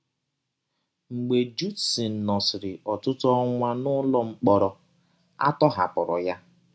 Mgbe Judson nọsịrị ọtụtụ ọnwa n’ụlọ mkpọrọ, a tọhapụrụ ya.